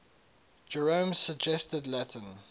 jerome's suggested latin